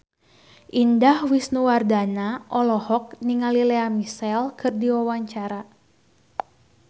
Indah Wisnuwardana olohok ningali Lea Michele keur diwawancara